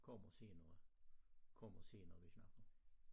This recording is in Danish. {\fs38}Kommer senere kommer senere vi snakker***